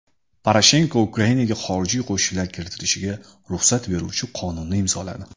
Poroshenko Ukrainaga xorijiy qo‘shinlar kiritilishiga ruxsat beruvchi qonunni imzoladi.